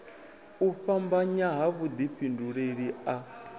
u fhambanya ha vhudifhinduleli a